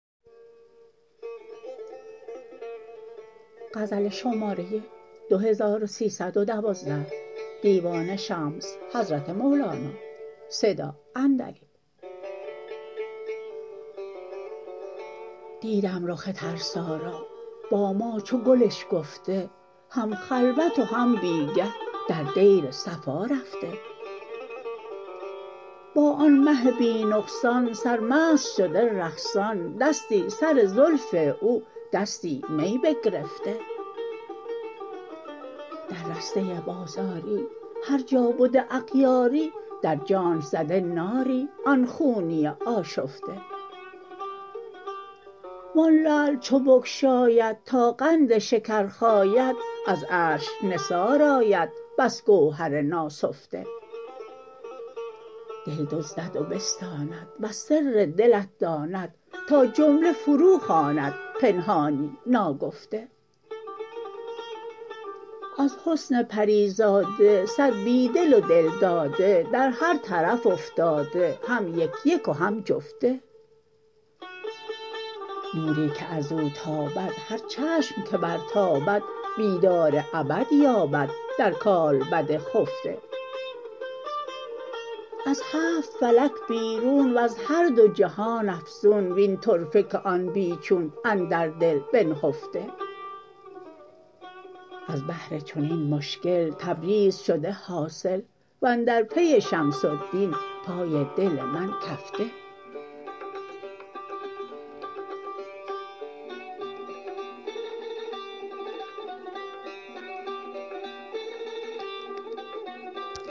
دیدم رخ ترسا را با ما چو گل اشکفته هم خلوت و هم بی گه در دیر صفا رفته با آن مه بی نقصان سرمست شده رقصان دستی سر زلف او دستی می بگرفته در رسته بازاری هر جا بده اغیاری در جانش زده ناری آن خونی آشفته و آن لعل چو بگشاید تا قند شکر خاید از عرش نثار آید بس گوهر ناسفته دل دزدد و بستاند وز سر دلت داند تا جمله فروخواند پنهانی ناگفته از حسن پری زاده صد بی دل و دل داده در هر طرف افتاده هم یک یک و هم جفته نوری که از او تابد هر چشم که برتابد بیدار ابد یابد در کالبد خفته از هفت فلک بیرون وز هر دو جهان افزون وین طرفه که آن بی چون اندر دل بنهفته از بهر چنین مشکل تبریز شده حاصل و اندر پی شمس الدین پای دل من کفته